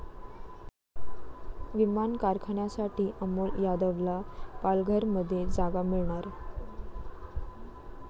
विमान कारखान्यासाठी अमोल यादवला पालघरमध्ये जागा मिळणार